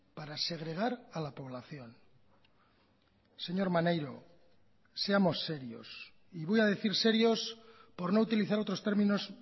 para segregar a la población señor maneiro seamos serios y voy a decir serios por no utilizar otros términos